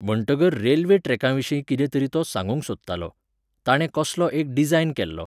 म्हणटगर रेल्वे ट्रॅकाविशीं कितें तरी तो सागूंक सोदतालो. ताणें कसलो एक डिजायन केल्लो.